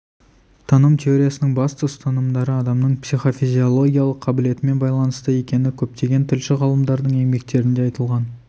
таным теориясының басты ұстанымдары адамның психофизиологиялық қабілетімен байланысты екені көптеген тілші ғалымдардың еңбектерінде айтылған